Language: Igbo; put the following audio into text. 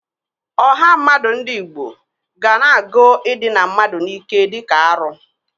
Ọha mmadụ ndị Igbo.ga na-agụ idịna mmadụ n'ike dịka arụ.